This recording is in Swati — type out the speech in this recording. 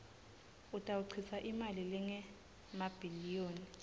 utawuchitsa imali lengemabhiliyoni